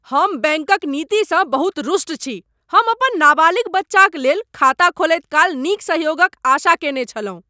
हम बैंकक नीतिसँ बहुत रुष्ट छी। हम अपन नाबालिग बच्चाक लेल खाता खोलैत काल नीक सहयोगक आशा कयने छलहुँ।